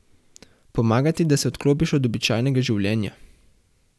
Pomaga ti, da se odklopiš od običajnega življenja.